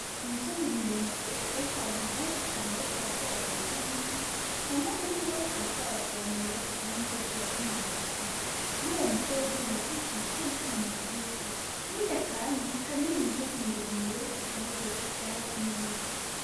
Umusozi muremure hariko abantu benshi cane bariko barateragirako imiti , bamwe muri bo bariko baravomera abandi bashirako umwavu . Kur ‘Uwo musozi hariko ibiti bitoyi cane bigufi hirya kandi hari iyindi misozi miremire iteragiyeko ivyatsi n’ibiti.